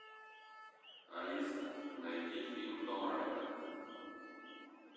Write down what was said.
алиса найди фильм том райдер